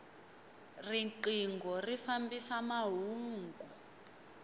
rinqingho ri fambisa mahungu